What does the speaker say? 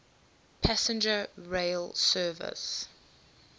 passenger rail service